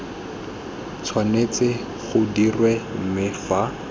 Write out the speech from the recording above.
tshwanetse go dirwa mme fa